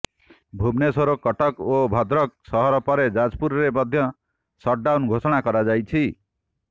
ଭୁବନେଶ୍ୱର କଟକ ଓ ଭଦ୍ରକ ସହର ପରେ ଯାଜପୁରରେ ମଧ୍ୟ ସଟଡାଉନ ଘୋଷଣା କରାଯାଇଛି